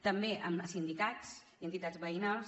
també amb sindicats i entitats veïnals